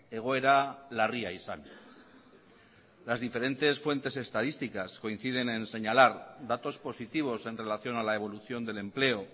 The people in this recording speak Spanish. egoera larria izan las diferentes fuentes estadísticas coinciden en señalar datos positivos en relación a la evolución del empleo